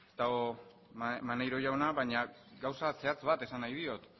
dago maneiro jauna baina gauza zehatz bat esan nahi diot